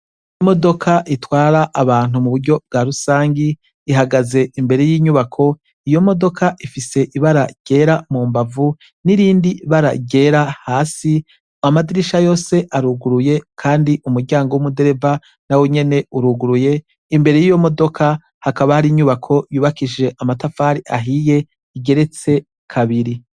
I modoka itwara abantu mu buryo bwa rusangi ihagaze imbere y'inyubako iyo modoka ifise ibara ryera mu mbavu n'irindi bara ryera hasi mu amadirisha yose aruguruye, kandi umuryango w'umudereva na we nyene uruguruye imbere y'iyo modoka hakaba hari inyubako yubakishe amatafari ahiye igeretse kabiri.